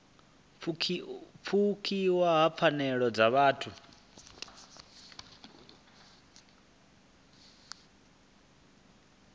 pfukiwa ha pfanelo dza vhuthu